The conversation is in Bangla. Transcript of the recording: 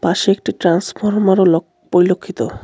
পাশে একটি ট্রান্সফরমার ও লখ পরিলক্ষিত.